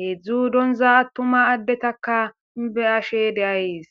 heedzdzu donza attuma addetakka beyashe de'ayes.